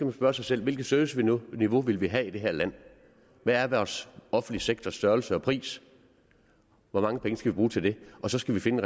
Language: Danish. at spørge sig selv hvilket serviceniveau vil vi have i det her land hvad er vores offentlige sektors størrelse og pris hvor mange penge skal vi bruge til det og så skal vi finde